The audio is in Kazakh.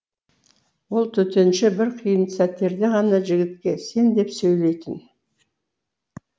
ол төтенше бір қиын сәттерде ғана жігітке сен деп сөйлейтін